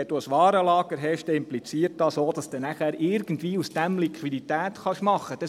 Denn wenn du ein Warenlager hast, dann impliziert dies auch, dass du nachher daraus irgendwie Liquidität machen kannst.